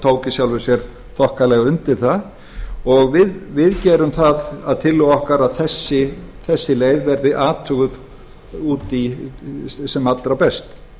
í sjálfu sér þokkalega undir það og við gerum það að tillögu okkar að þessi leið verði athuguð sem allra best